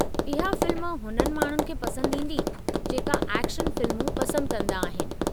इहा फ़िल्म हुननि माण्हुनि खे पंसदि ईंदी जेका एक्शन फिल्मूं पसंदि कंदा आहिनि।